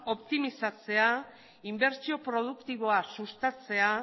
optimizatzea inbertsio produktiboa sustatzea